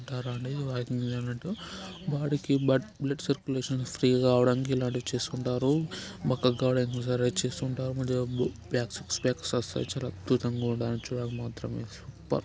అన్నట్టు బాడికి but blood circulation free గా కావడానికి ఇలాంటివి చేస్తుంటారు బక్కగా కావడానికి ఇలా చేస్తుంటార సిక్స్ ప్యాక్ అద్భుతంగా ఉండడానికి మాత్రం సూపర్--